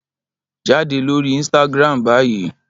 Jade lori Instagram bayi!